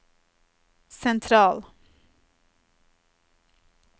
sentral